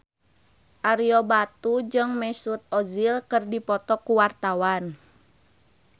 Ario Batu jeung Mesut Ozil keur dipoto ku wartawan